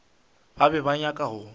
ba be ba nyaka go